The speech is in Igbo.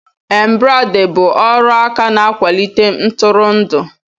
Embrade bụ ọrụ aka na-akwalite ntụrụndụ